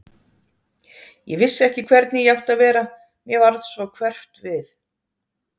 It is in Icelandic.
Ég vissi ekki hvernig ég átti að vera, mér varð svo hverft við.